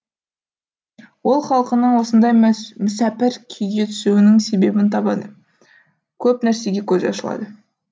ол халқының осындай мүсәпір күйге түсуінің себебін табады көп нәрсеге көзі ашылады